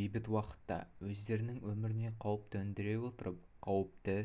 бейбіт уақытта өздерінің өміріне қауіп төндіре отырып қауіпті